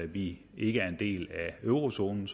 vi ikke er en del af eurozonen